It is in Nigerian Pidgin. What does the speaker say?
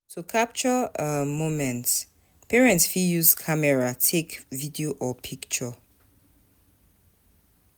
To capture um moments, parents fit use camera take video or picture